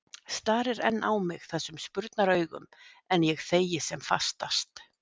Starir enn á mig þessum spurnaraugum, en ég þegi sem fastast.